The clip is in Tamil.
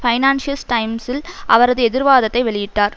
பைனான்சியஸ் டைம்ஸில் அவரது எதிர்வாதத்தை வெளியிட்டார்